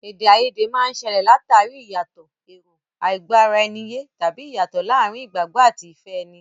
Èdè àìyedè máa ń ṣẹlẹ̀ l'àtàrí ìyàtọ̀ èrò, àìgbọ́-ara-ẹni-yé, tàbí ìyàtọ̀ láàárín ìgbàgbọ́ àti ìfẹ́ ẹni.